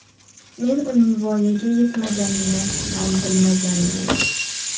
Men uning voyaga yetmaganini ham bilmaganman.